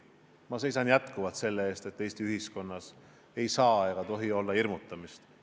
Ma seisan jätkuvalt selle eest, et Eesti ühiskonnas ei oleks hirmutamist.